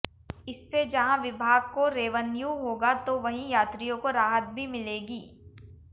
इससे जहां विभाग को रेवन्यू होगा तो वहीं यात्रियों को राहत भी मिलेगी